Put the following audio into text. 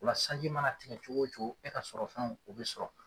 Ola sanji mana tigɛ cogo o cogo e ka sɔrɔ fɛnw o bi sɔrɔ